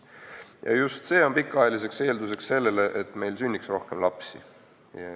Ja just see on pikaajaline eeldus sellele, et meil sünniks rohkem lapsi.